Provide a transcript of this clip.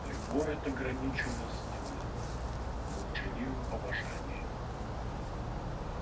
любовь эта граничила с немым молчаливым обожанием